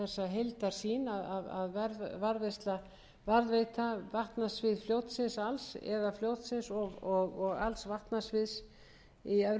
varðveita vatnasvið fljótsins alls eða fljótsins og alls vatnasviðs í syðri hluta fljótsins eða þeirra sem vildu bíða eftir vinnu